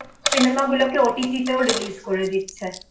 cinema গুলোকে OTT তেও release করে দিচ্ছে